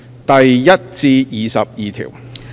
第1至22條。